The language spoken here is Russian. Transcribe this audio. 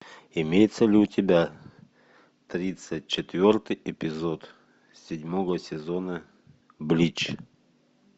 имеется ли у тебя тридцать четвертый эпизод седьмого сезона блич